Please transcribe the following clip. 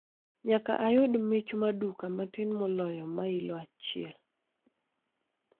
Nyaka ayud mich ma duka matin moloyo mailo achiel